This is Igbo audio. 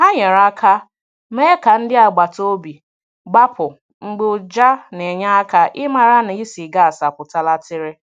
Hà nyere aka mee ka ndị agbata obi gbapụ̀ mgbe ụjà na enye aka i mara na ísì gas apụtala tiri.